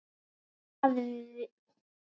Hvaða vit er í því?